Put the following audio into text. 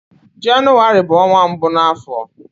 Jenụwarị bụ ọnwa mbụ na afọ